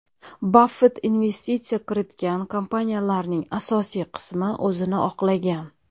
Baffett investitsiya kiritgan kompaniyalarning asosiy qismi o‘zini oqlagan.